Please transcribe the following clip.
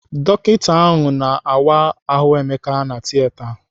Dọkita ahụ na-awa ahụ Emeka na Tieta.